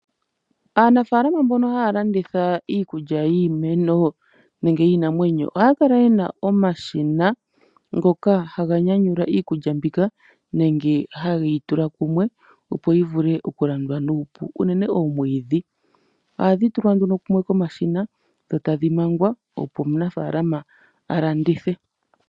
Aanafaalama mbono haya landitha iikulya yiimeno nenge yiinamwenyo, ohaya kala yena omashina ngoka haga nyanyulwa iikulya mbika nenge hageyi tula kumwe , opo yivule okulandwa nuupu unene oomwiidhi . Ohadhi tulwa nduno kumwe komashina, dho tadhi mangwa opo omunafaalama alandithe.